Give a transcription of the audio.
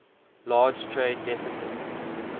large trade deficit